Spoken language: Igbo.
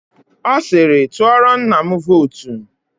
Ọ siiri, tụọrọ nna m vootu.